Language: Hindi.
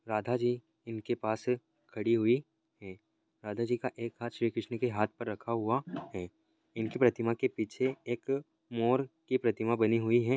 राधा जी इनके पास खड़ी हुई है राधा जी का एक हाथ श्रीक़ृष्ण पे हाथ पर रखा हुआ है इनके प्रतिमा के पीछे एक मोर की प्रतिमा बनी हुई है।